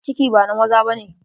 Ciki ba na maza ba ne.